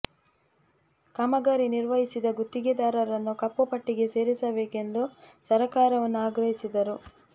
ಕಾಮಗಾರಿ ನಿರ್ವಹಿಸಿದ ಗುತ್ತಿಗೆದಾರರನ್ನು ಕಪ್ಪು ಪಟ್ಟಿಗೆ ಸೇರಿಸಬೇಕು ಎಂದು ಸರಕಾರವನ್ನು ಆಗ್ರಹಿಸಿದರು